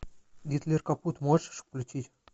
гитлер капут можешь включить